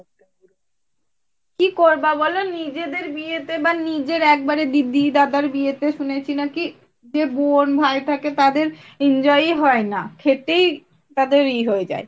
কি করবা বলো ? নিজেদের বিয়েতে বা নিজের একেবারে দিদি দাদার বিয়েতে শুনেছি নাকি, যে বোন ভাই থাকে তাদের enjoy ই হয়না খেটেই তাদের এ হয়ে যায়।